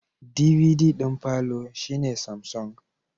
DVD d'in palour shine Samsung